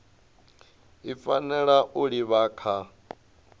i fanela u livha kha